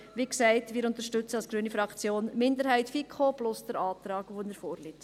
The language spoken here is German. Wie gesagt, wir unterstützen als grüne Fraktion die Minderheit der FiKo plus den Antrag, wie er vorliegt.